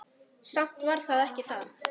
Samt var það ekki það.